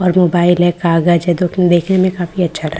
और मोबाइल है कागज है जोकि देखने में काफी अच्छा--